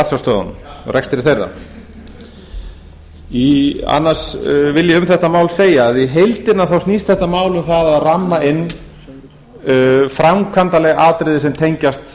á ratsjárstöðvunum og rekstri þeirra annars vil ég um þetta mál segja að í heildina snýst þetta mál um það að ramma inn framkvæmdarleg atriði sem tengjast